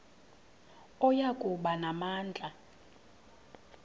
oya kuba namandla